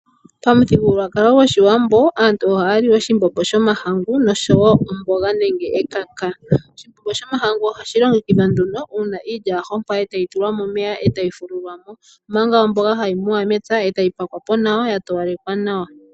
Pamuthigululwakalo gwoshiwambo aantu ohaali oshimbombo shomahangu osho woo omboga nenge ekaka. Oshimbombo shomahangu oha shi longekidhwa nduno uuna iilya ya hompwa etayi tulwa momeya etayi fululwamo, omanga omboga hayi muwa mempya etayi pakwapo nawa ya towalekwa nawa.